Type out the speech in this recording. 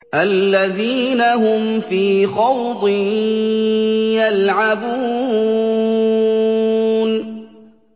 الَّذِينَ هُمْ فِي خَوْضٍ يَلْعَبُونَ